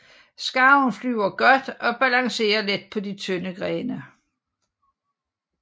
Skarven flyver godt og balancerer let på de tynde grene